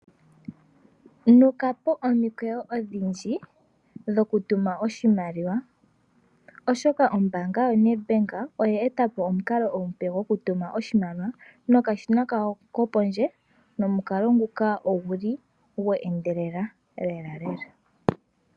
Nukapo omikweyo odhindji dhokutuma oshimaliwa, oshoka ombaanga yaNetbank oya etapo omukalo omupe gokutuma oshimaliwa nokashina kawo kopondje nomukalo nguka oguli gwe endelela lela lela.